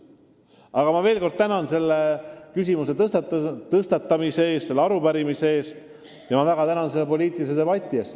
Aga ma veel kord tänan selle küsimuse tõstatamise eest, selle arupärimise eest, selle poliitilise debati eest!